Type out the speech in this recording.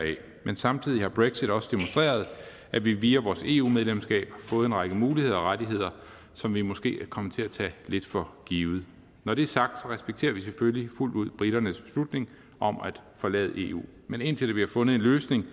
men samtidig har brexit også demonstreret at vi via vores eu medlemskab har fået en række muligheder og rettigheder som vi måske er kommet til at tage lidt for givet når det er sagt respekterer vi selvfølgelig fuldt ud briternes beslutning om at forlade eu men indtil der bliver fundet en løsning